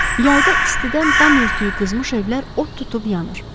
Yayda istidən dam örtüyü qızmış evlər od tutub yanır.